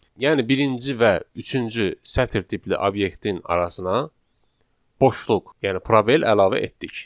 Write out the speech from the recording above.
Yəni birinci və üçüncü sətr tipli obyektin arasına boşluq, yəni probel əlavə etdik.